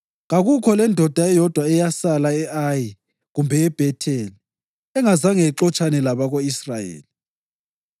Kakukho lendoda eyodwa eyasala e-Ayi kumbe eBhetheli engazanga ixotshane labako-Israyeli.